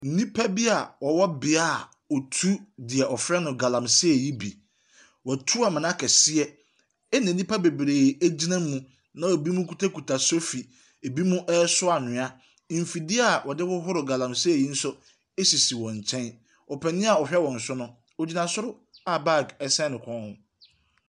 Nnipa bi a wɔwɔ beaeɛ a wɔtu deɛ wɔfrɛ no Galamsey yi bi. Wɔatu amena kɛseɛ na nnipa bebree gyina na binom kutakuta sofi, binom resoa anwea. Mfidie a wɔde hohoro galamsey yi nso sisi wɔn nkyɛn. Ɔpanin a ɔhwɛ wɔn so no, ɔgyina soro a bag sɛn ne kɔn mu.